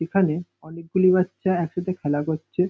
এখানে অনেকগুলি বাচ্চা একসাথে খেলা করছে।